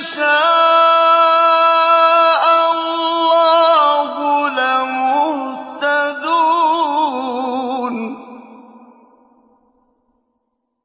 شَاءَ اللَّهُ لَمُهْتَدُونَ